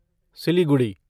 Siliguri